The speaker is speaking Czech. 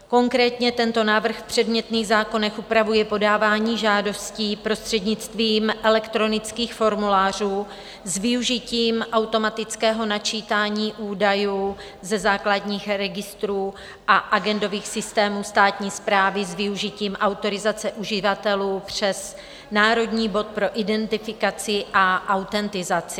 Konkrétně tento návrh v předmětných zákonech upravuje podávání žádostí prostřednictvím elektronických formulářů s využitím automatického načítání údajů ze základních registrů a agendových systémů státní správy s využitím autorizace uživatelů přes národní bod pro identifikaci a autentizaci.